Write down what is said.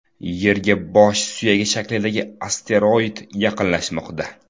Yerga bosh suyagi shaklidagi asteroid yaqinlashmoqda.